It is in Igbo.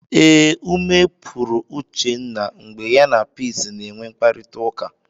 Ee, ume pụrụ Uchenna mgbe ya na Peace na-enwe mkparịtaụka.